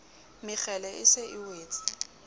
mekgele e se e wetse